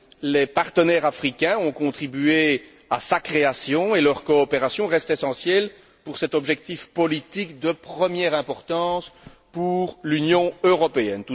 Les partenaires africains ont contribué à sa création et leur coopération reste essentielle pour cet objectif politique de première importance pour l'Union européenne.